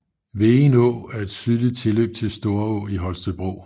Vegen Å er et sydligt tilløb til Storå i Holstebro